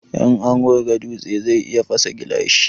In an wurga dutse zai iya fasa gilashi